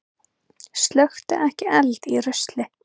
Slökktu ekki eld í rusli